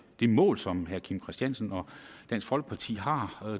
det mål som herre kim christiansen og dansk folkeparti har